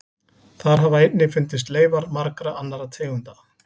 Þar hafa einnig fundist leifar margra annarra tegunda.